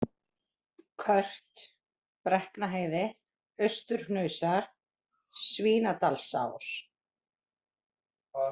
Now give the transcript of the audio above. Kört, Brekknaheiði, Austurhnausar, Svínadalsás